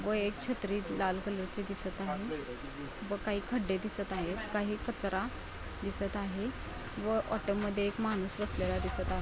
व एक छत्री लाल कलरची दिसत आहे व काही खड्डे दिसत आहेत. काही कचरा दिसत आहे व ऑटोमध्ये एक माणूस बसलेला दिसत आहे.